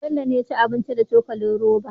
Bello ne yaci abincin da cokalin roba